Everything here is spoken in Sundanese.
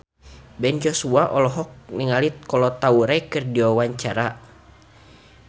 Ben Joshua olohok ningali Kolo Taure keur diwawancara